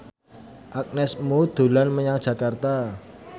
Agnes Mo dolan menyang Jakarta